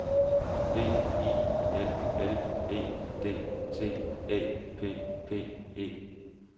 B I L L E D T Æ P P E